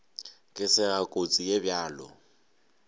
ka sega kotsi ye bjalo